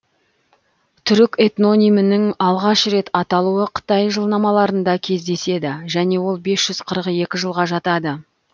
түрік этнонимінің алғаш рет аталуы қытай жылнамаларында кездеседі және ол без жүз қырық екі жылға жатады